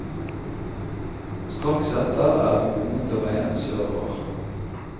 Straks etter er vi på motorveien sørover.